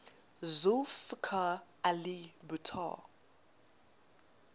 zulfikar ali bhutto